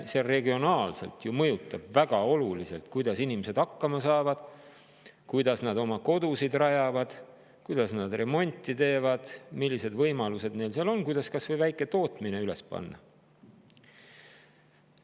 See ju regionaalselt mõjutab väga oluliselt, kuidas inimesed hakkama saavad, kuidas nad oma kodusid rajavad, kuidas nad remonti teevad, millised võimalused neil seal on, kuidas kas või väike tootmine üles panna.